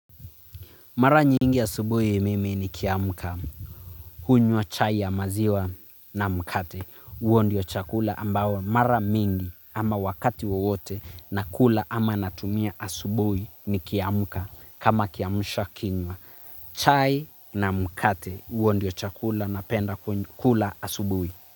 Mara nyingi asubuhi mimi nikiamka, hunywa chai ya maziwa na mkate, huo ndio chakula ambao mara mingi ama wakati wowote nakula ama natumia asubuhi nikiamka kama kiamsha kinywa. Chai na mkate, huo ndio chakula napenda kula asubuhi.